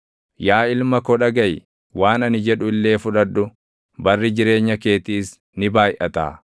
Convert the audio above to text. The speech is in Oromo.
Yaa ilma ko dhagaʼi; waan ani jedhu illee fudhadhu; barri jireenya keetiis ni baayʼataa.